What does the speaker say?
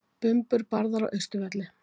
Bumbur barðar á Austurvelli